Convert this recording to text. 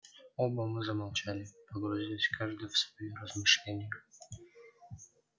оба мы замолчали погрузясь каждый в свои размышления